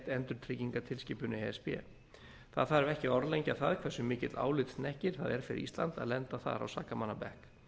e s b það þarf ekki að orðlengja það hversu mikill álitshnekkir það er fyrir ísland að lenda þar á sakamannabekk